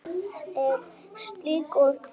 Eða er slíkt orð til?